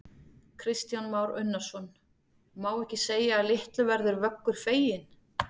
Kristján Már Unnarsson: Má ekki segja að litlu verður Vöggur feginn?